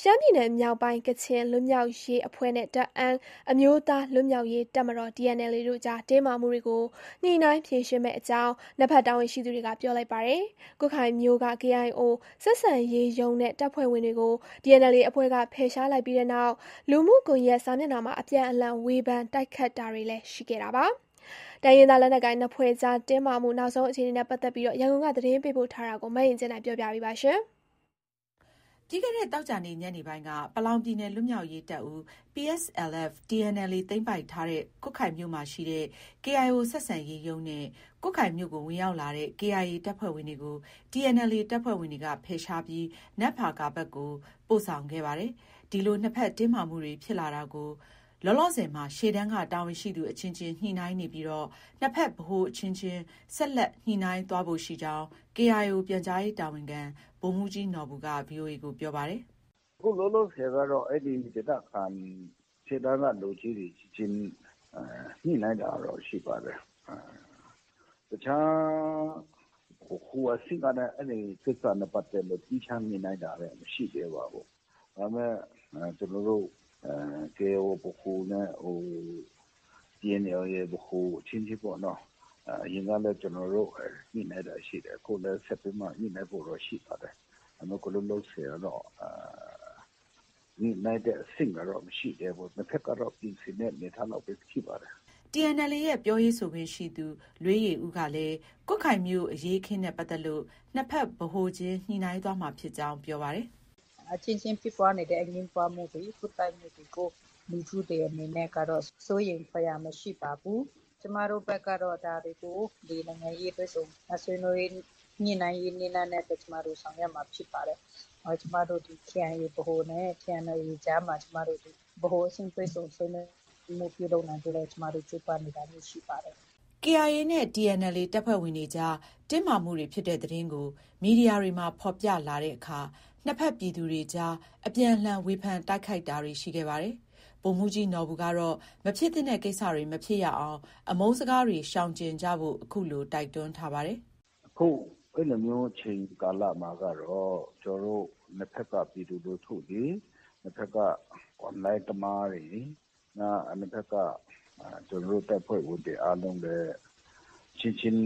ရှမ်းပြည်နယ်မြောက်ပိုင်း ကချင်လွတ်မြောက်ရေးအဖွဲ့နဲ့ တအန်းအမျိုးသားလွတ်မြောက်ရေး တပ်မတော် TNLA တို့ကြား တင်းမာမှုတွေကို ညှိနှိုင်းဖြေရှင်းမယ့်အကြောင်း နှစ်ဘက်တာဝန်ရှိသူ တွေက ပြောလိုက်ပါတယ်။ ကွတ်ခိုင်မြို့က KIO ဆက်ဆံရေးရုံးနဲ့ တပ်ဖွဲ့ဝင်တွေကို TNLA အဖွဲ့က ဖယ်ရှားလိုက်ပြီးနောက် လူမှုကွန်ရက်စာမျက်နှာမှာ အပြန်အလှန် ဝေဖန်တိုက်ခိုက်တာတွေလည်း ရှိခဲ့တာပါ။ တိုင်းရင်းသား လက်နက်ကိုင်နှစ်ဖွဲ့ကြားတင်းမာမှု နောက်ဆုံးအခြေအနေ ရန်ကုန်က သတင်းပေးပို့ထားပါတယ်။ ပြီးခဲ့တဲ့ သောကြာနေ့ ညနေပိုင်းက ပလောင်ပြည်နယ် လွတ်မြောက်ရေးတပ်ဦး PSLF/ TNLA သိမ်းပိုက် ထားတဲ့ ကွတ်ခိုင်မြို့ရှိ KIO ဆက်ဆံရေးရုံးနဲ့ ကွတ်ခိုင်မြို့ကိုဝင်ရောက်လာတဲ့ KIA တပ်ဖွဲ့ဝင်တွေကို TNLA တပ်ဖွဲ့ဝင်တွေကဖယ်ရှားပြီး နမ့်ဖာကာဘက်ကို ပို့ဆောင်ခဲ့တာပါ။ ဒီလို နှစ်ဘက်တင်းမာမှုတွေ ဖြစ်လာတာကို လောလောဆယ်မှာ ရှေ့တန်းက တာဝန်ရှိသူအချင်းချင်းညှိနှိုင်းနေပြီး နှစ်ဘက် ဗဟို အချင်းချင်း ဆက်လက်ညှိနှိုင်းသွားဖို့ ရှိကြောင်း KIO ပြန်ကြားရေးတာဝန်ခံ ဗိုလ်မှူးကြီးနော်ဘူက VOA ကို ပြောပါတယ်။ “အခုလောလောဆယ်ကတော့ အဲဒီဒေသခံ ရှေ့တန်းကလူအချင်းချင်း ညှိနှိုင်းတာကတော့ ရှိပါတယ်။ တခြား ဗဟိုအဆင့်ကနဲ့ အဲဒီကိစ္စနဲ့ပတ်သက်လို့ သီးခြားညှိနှိုင်းတာတော့ မရှိသေးပါဘူး။ ဒါပေမဲ့ ကျနော်တို့ KIA ဗဟိုနဲ့ TNLA ဗဟို အချင်းချင်းပေါ့နော။ အရင်ကလည်း ကျနော်တို့ ညှိနှိုင်းတာ ရှိတယ်။ အခုလည်း ဆက်ပြီးတော့မှ ညှိနှိုင်းဖို့တော့ ရှိပါတယ်။ ဒါပေမဲ့ အခု လောလောဆယ်ကတော့ ညှိနှိုင်းတဲ့ အဆင့်ကတော့ မရှိသေးဘူး။ နှစ်ဘက်ကတော့ ပြင်ဆင်တဲ့အနေအထားလောက်ပဲ ရှိပါတယ်။” TNLAရဲ့ ပြောရေးဆိုခွင့်ရှိသူ လွေးယေဦးကလည်း ကွတ်ခိုင်မြို့ အရေးအခင်းနဲ့ ပတ်သက်ပြီး နှစ်ဘက် ဗဟိုချင်း ညှိနှိုင်းသွားမှာဖြစ်ကြောင်း ပြောပါတယ်။ “အချင်းချင်းဖြစ်ပွားနေတဲ့ ပွတ်တိုက်မှုတွေ၊ အငြင်းပွားမှုတွေကို လူထုတွေအနေနဲ့ကတော့ စိုးရိမ်စရာ မရှိပါဘူး။ ကျမတို့ဘက်ကတော့ ဒါတွေကို နိုင်ငံရေးတွေ့ဆုံ ဆွေးနွေးညှိနှိုင်းရေးနည်းလမ်းနဲ့ ကျမတို့ ဆောင်ရွက်မှာဖြစ်ပါတယ်။ ကျမတို့ KIA ဗဟိုနဲ့ TNLA ကြားမှာ ဗဟိုချင်းတွေ့ဆုံဆွေးနွေးပွဲ ပြုလုပ်နိုင်ဖို့ လည်း ကျမတို့ ကြိုးပမ်းနေပါတယ်။” KIA နဲ့ TNLA တပ်ဖွဲ့ဝင်တွေကြား တင်းမာမှုတွေဖြစ်တဲ့သတင်းကို မီဒီယာတွေမှာ ဖော်ပြလာတဲ့အခါ နှစ်ဘက်ပြည်သူတွေကြား အပြန်အလှန် ဝေဖန်တိုက်ခိုက်တာတွေ ရှိခဲ့ပါတယ်။ ဗိုလ်မှူးကြီးနော်ဘူကတော့ မဖြစ်သင့်တဲ့ကိစ္စတွေမဖြစ်ရအောင် အမုန်းစကားတွေရှောင်ကြဉ်ဖို့ အခုလို တိုက်တွန်းထားပါတယ်။ “အခု အဲလိုမျိုး အချိန်ကာလမှာကတော့ ကျနော်တို့ နှစ်ဘက်က ပြည်သူလူထုတွေ၊ နှစ်ဘက်က Online သမားတွေ၊ နှစ်ဘက်က ကျနော်တို့ တပ်ဖွဲ့ဝင်တွေအားလုံးလည်း အချင်းချင်း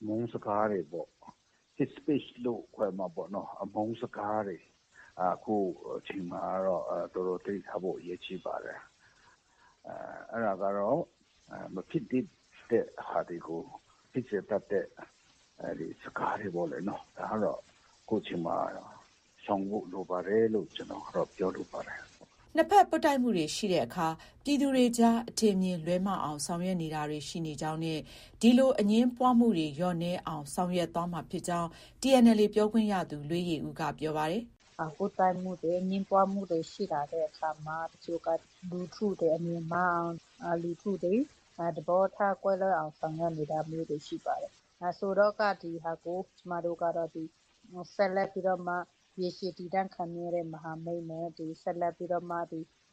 အမုန်းစကားတွေပေါ့။ Hate Speech လို့ ခေါ်မှာပေါ့နော။ အမုန်းစကားတွေ အခုအချိန်မှာကတော့ အတော်သတိထားဖို့ အရေးကြီးပါတယ်။ အဲဒါကတော့ မဖြစ်သင့်တဲ့ဟာတွေကို ဖြစ်စေတတ်တဲ့ စကားတွေပေ့ါလေနော။ ဒါကတော့ အခုချိန်မှာကတော့ ရှောင်ဖို့ လိုပါတယ်လို့ ကျနော်ကတော့ ပြောလိုပါတယ်။” နှစ်ဘက်ပွတ်တိုက်မှုတွေရှိတဲ့အခါ ပြည်သူတွေကြား အထင်အမြင်လွဲမှားအောင်ဆောင်ရွက်နေတာတွေ ရှိနေကြောင်းနဲ့ ဒီလို အငြင်းပွားမှုတွေလျော့နည်းအောင် ဆောင်ရွက်သွားမှာဖြစ်ကြောင်း TNLA ပြော ခွင့်ရသူ လွေးယေဦးက ပြောပါတယ်။ “ပွတ်တိုက်မှုတွေ၊ အငြင်းပွားမှုတွေရှိလာတဲ့အခါမှာ တချို့က လူထုတွေ အမြင်မှားအောင်၊ လူထုတွေ သဘောထားကွဲလွဲအောင် ဆောင်ရွက်နေတာမျိုးတွေရှိပါတယ်။ ဒီဟာကို ကျမတို့ကတော့ ရေရှည် တည်တံ့ခိုင်မြဲတဲ့မဟာမိတ်နဲ့ ဆက်လက်ပြီးတော့မှ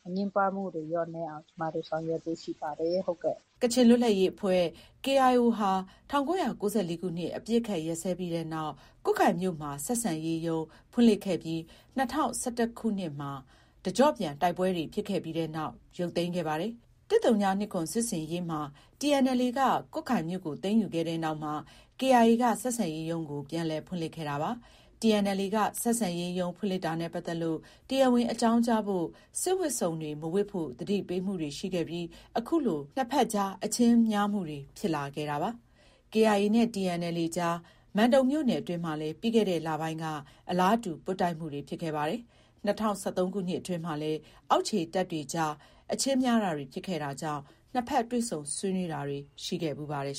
အငြင်းပွားမှုတွေလျော့နည်းအောင် ကျမတို့ ဆောင်ရွက်ဖို့ ရှိပါတယ်။” ကချင်လွတ်လပ်ရေးအဖွဲ့ KIO ဟာ ၁၉၉၄ ခုနှစ် အပစ်အခတ်ရပ်စဲပြီးနောက် ကွတ်ခိုင်မြို့မှာ ဆက်ဆံရေးရုံး ဖွင့်လှစ်ခဲ့ပြီး ၂၀၁၁ခု တကျော့ပြန်တိုက်ပွဲဖြစ်တဲ့နောက် ရုတ်သိမ်းခဲ့ပါတယ်။ ၁၀၂၇ စစ်ဆင်ရေးမှာ TNLA က ကွတ်ခိုင်မြို့ကို သိမ်းယူခဲ့တဲ့နောက်မှာ KIA က ဆက်ဆံရေးရုံးကို ပြန်လည် ဖွင့်ခဲ့တာပါ။ TNLA က ဆက်ဆံရေးရုံးဖွင့်လှစ်တာနဲ့ပတ်သက်ပြီး တရားဝင် အကြောင်းကြားဖို့၊ စစ်ဝတ်စုံတွေမဝတ်ဖို့ သတိပေးမှုတွေရှိခဲ့ပြီး အခုလို နှစ်အကြား အချင်းများမှုတွေ ဖြစ်လာခဲ့တာပါ။ KIA နဲ့ TNLA ကြား မန်တုံမြို့နယ်အတွင်းမှာလည်း ပြီးခဲ့တဲ့လပိုင်းက အလားတူ ပွတ်တိုက်မှုတွေ ဖြစ်ခဲ့ပါတယ်။ ၂၀၁၃ခုနှစ်အတွင်းမှာလည်း အောက်ခြေတပ်တွေအကြား အချင်းများတာတွေ ဖြစ်ခဲ့တာကြောင့် နှစ်ဘက် တွေ့ဆုံဆွေးနွေးတာတွေ ရှိခဲ့ဖူးပါတယ်